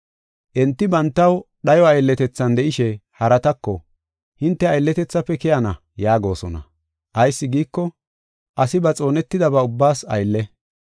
Enti bantaw dhayo aylletethan de7ishe haratako, “Hinte aylletethafe keyana” yaagosona. Ayis giiko, asi ba xoonetidaba ubbaas aylle.